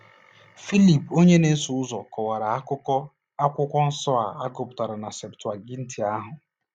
Filip onye na-eso ụzọ kọwara akụkụ Akwụkwọ Nsọ a gụpụtara na “Septụaginti” ahụ.